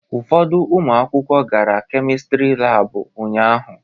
Ụfọdụ ụmụ akwụkwọ gara Kemistri Laabụ ụnyaahụ.